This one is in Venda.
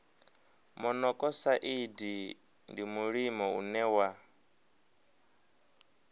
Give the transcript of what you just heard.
monokosaidi ndi mulimo une wa